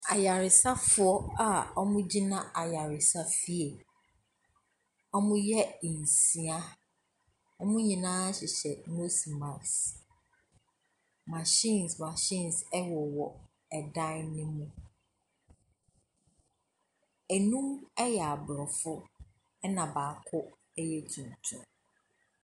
Ayaresafoɔ a wɔgyina ayaresafie. Wɔyɛ nsia. Wɔn nyinaa hyehyɛ nose mask. Machines machines wowɔ ɛdan no mu. Nnum yɛ Aborɔfo ɛna baako yɛ tuntum.